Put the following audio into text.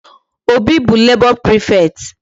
Obi bụ labor prefect.